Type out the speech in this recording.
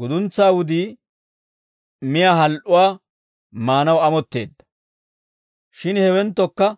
Guduntsaa wudii miyaa hal"uwaa maanaw amotteedda; shin hewenttokka